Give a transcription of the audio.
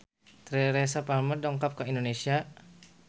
Teresa Palmer dongkap ka Indonesia